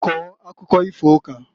Kọọ akụkọ ifo ukaǃ